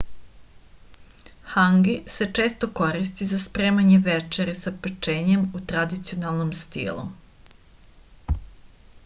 hangi se često koristi za spremanje večere sa pečenjem u tradicionalnom stilu